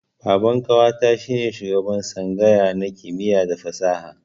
Baban ƙawata shi ne shugaban tsangaya na kimiyya da fasaha.